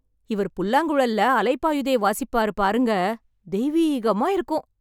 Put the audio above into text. இவர் புல்லாங்குழல்ல அலை பாயுதே வாசிப்பாரு பாருங்க. தெய்வீகமா இருக்கும்.